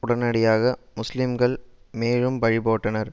உடனடியாக முஸ்லீம்கள் மேழும் பழி போட்டனர்